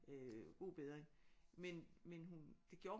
Øh god bedring men men hun det gjorde